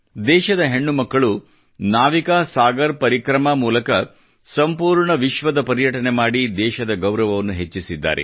ದೇಶದ ಹೆಣ್ಣು ಮಕ್ಕಳು ನಾವಿಕಾ ಸಾಗರ ಪರಿಕ್ರಮಾ ಮೂಲಕ ಸಂಪೂರ್ಣ ವಿಶ್ವದ ಪರ್ಯಟನೆ ಮಾಡಿ ದೇಶದ ಗೌರವವನ್ನು ಹೆಚ್ಚಿಸಿದ್ದಾರೆ